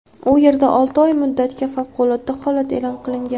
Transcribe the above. U yerda olti oy muddatga favqulodda holat e’lon qilingan.